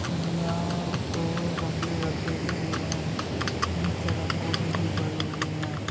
सीढीया पे गमले रखे हुए हैं। नीचे रंगोली भी बरी हुई है।